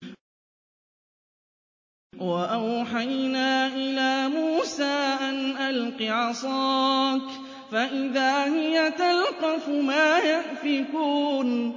۞ وَأَوْحَيْنَا إِلَىٰ مُوسَىٰ أَنْ أَلْقِ عَصَاكَ ۖ فَإِذَا هِيَ تَلْقَفُ مَا يَأْفِكُونَ